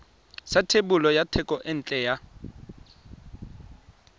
sa thebolo ya thekontle ya